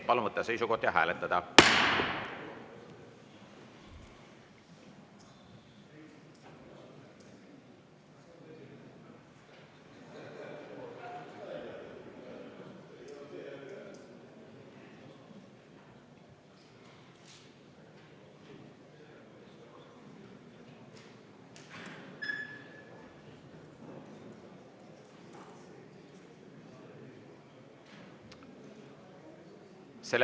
Palun võtta seisukoht ja hääletada!